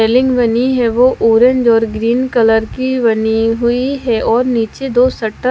building बनी है वो ऑरेंज और ग्रीन कलर की बनी हुई है और नीचे दो शटर --